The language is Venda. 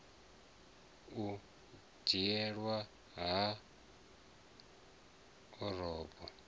u dzhieliwa nha ha orobo